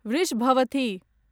वृषभवथि